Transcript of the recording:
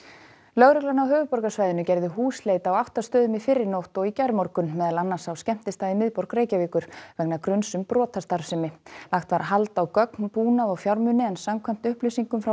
lögreglan á höfuðborgarsvæðinu gerði húsleit á átta stöðum í fyrrinótt og í gærmorgun meðal annars á skemmtistað í miðborg Reykjavíkur vegna gruns um brotastarfsemi lagt var hald á gögn búnað og fjármuni en samkvæmt upplýsingum frá